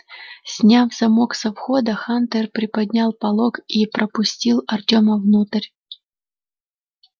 сняв замок со входа хантер приподнял полог и пропустил артема внутрь